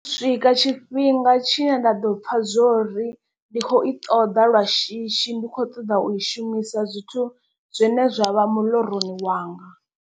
Swika tshifhinga tshine nda ḓo pfha zwori ndi kho i ṱoḓa lwa shishi ndi kho ṱoḓa u i shumisa zwithu zwine zwa vha miḽoroni wanga.